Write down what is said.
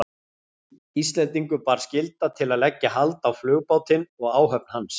Íslendingum bar skylda til að leggja hald á flugbátinn og áhöfn hans.